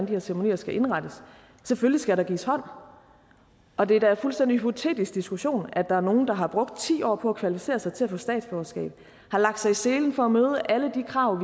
her ceremonier skal indrettes selvfølgelig skal der gives hånd og det er da en fuldstændig hypotetisk diskussion at der er nogle der har brugt ti år på at kvalificere sig til at få statsborgerskab har lagt sig i selen for at møde alle de krav